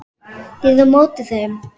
Ég er á móti þeim.